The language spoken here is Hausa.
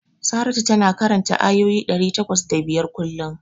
Saratu tana karanta ayoyi ɗari takwas da biyar kullum.